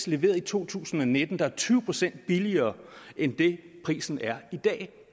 leveret i to tusind og nitten der er tyve procent billigere end prisen er i dag